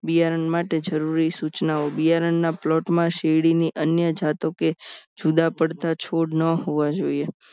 બિયારણ માટે જરૂરી સૂચનાઓ બિયારણના plot માં શેરડીની અન્ય જાતો કે જુદા પડતા છોડ ન હોવા જોઈએ